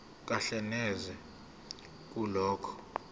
kahle neze kulokho